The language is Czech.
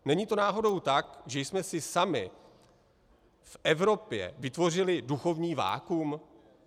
Není to náhodou tak, že jsme si sami v Evropě vytvořili duchovní vakuum?